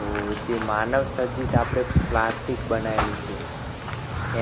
તો જે માનવસર્જિત આપણે plastic બનાવેલું છે.